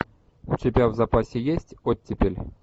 у тебя в запасе есть оттепель